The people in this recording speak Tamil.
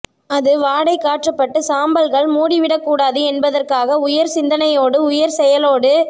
அது வாடை காற்றுப்பட்டு சாம்பல்கள் மூடிவிடக்கூடாது என்பதற்காக உயர் சிந்தனையோடு உயர் செயலோடு